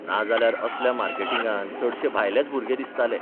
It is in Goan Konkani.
नाजाल्यार असल्या मार्केटिंगांत चडशे भायलेच भुरगे दिसताले.